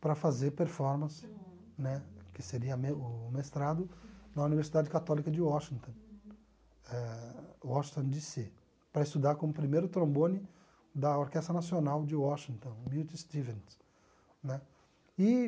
para fazer performance, né, que seria me o mestrado na Universidade Católica de Washington, eh Washington dê cê, para estudar como primeiro trombone da Orquestra Nacional de Washington, Beauty Stevens né e.